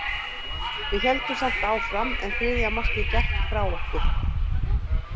Við héldum samt áfram, en þriðja markið gekk frá okkur.